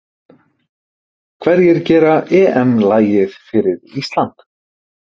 Hverjir gera EM lagið fyrir Ísland???